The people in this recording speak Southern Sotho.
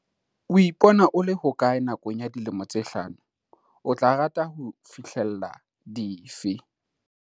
O ipona o le hokae nakong ya dilemo tse hlano? O tla rata ho fihlella dife?